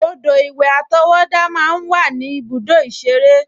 Odò-ìwẹ̀ àtọwọ́dá máa ń wà ní ibùdó ìṣeré